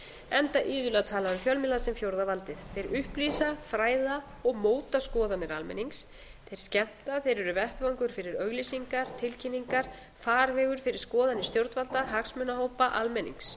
enda iðulega talað um fjölmiðla sem fjórða valdið þeir upplýsa fræða og móta skoðanir almennings þeir skemmta þeir eru vettvangur fyrir auglýsingar tilkynningar farvegur fyrir skoðanir stjórnvalda hagsmunahópa almennings